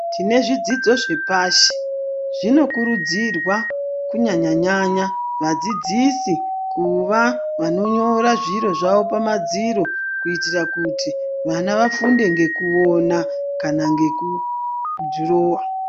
Tine zvidzidzo zvepashi zvinokurudzirwa kunyanyanyanya vadzidzisi kuva vanobva pamadziro kuitira kuti vafunde nekuona kana nekudhirowa.